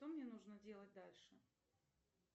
что мне нужно делать дальше